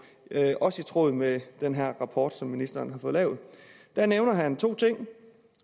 også i tråd med den rapport som ministeren har fået lavet der nævner han to ting